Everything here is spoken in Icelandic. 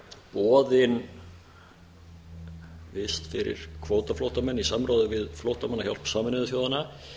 boðin vist fyrir kvótaflóttamenn í samráði við flóttamannahjálp sameinuðu þjóðanna